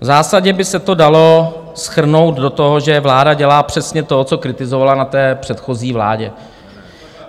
V zásadě by se to dalo shrnout do toho, že vláda dělá přesně to, co kritizovala na té předchozí vládě.